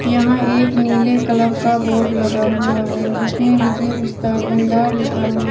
यहां एक नीले कलर का बोर्ड लगा हुआ है जिसमें विजय पुस्तक भंडार लिखा हुआ--